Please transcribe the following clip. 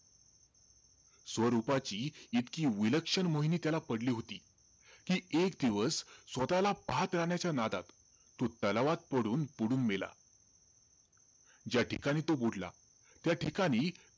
स्वरूपाची त्याला इतकी विलक्षण मोहिनी त्याला पडली होती कि, एक दिवस स्वतःला पाहत राहण्याच्या नादात तो तलावात पडून बुडून मेला. ज्या ठिकाणी तो बुडला, त्या ठिकाणी,